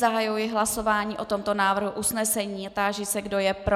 Zahajuji hlasování o tomto návrhu usnesení a táži se, kdo je pro.